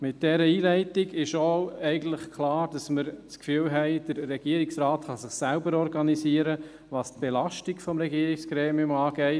Mit dieser Einleitung ist eigentlich auch klar, dass wir das Gefühl haben, der Regierungsrat könne sich selbst organisieren, was die Belastung des Regierungsgremiums angeht.